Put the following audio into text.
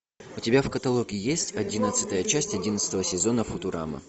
у тебя в каталоге есть одиннадцатая часть одиннадцатого сезона футурама